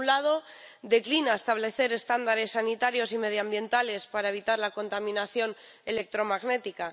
Por un lado, declina establecer estándares sanitarios y medioambientales para evitar la contaminación electromagnética.